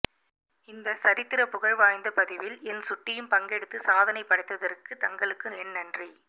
இந்தச் சரித்திரப்புகழ் வாய்ந்த பதிவில் என் சுட்டியும் பங்கெடுத்து சாதனை படைத்ததற்கு தங்களுக்கு என் நன்றி